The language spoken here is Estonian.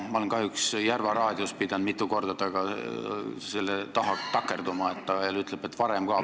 Ma olen kahjuks Järva Raadios esinedes pidanud mitu korda selle taha takerduma, et ta ütleb, et varem oli ka.